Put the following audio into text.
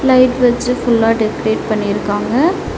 Light வச்சு ஃபுல்லா decorate பண்ணிருக்காங்க.